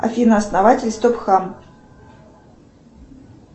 афина основатель стоп хам